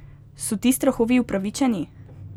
So ti strahovi upravičeni?